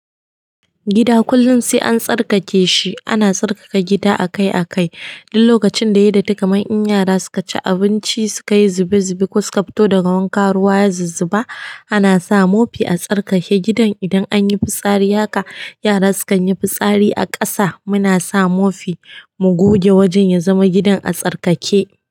Gida kullum sai an tsarkake shi. Ana tsarkaka gida akai akai. Duk lokacin da ya yi da takaman in yara suka ci abinci, suka yi zube zube ko suka fito daga wanka, ruwa ya zizziba, ana sa mofi a tsarkake gidan. Idan an yi fitsari haka, yara sukan yi fitsari a ƙasa, muna sa mofi mu goge wajen ya zama gidan a tsarkake.